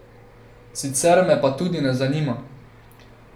Sicer me pa tudi ne zanima.